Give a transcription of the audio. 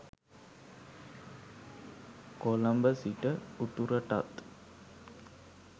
කොළඹ සිට උතුරටත්